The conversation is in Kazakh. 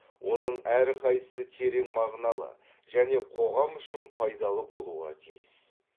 оның әрқайсысы терең мағыналы және қоғам үшін пайдалы болуға тиіс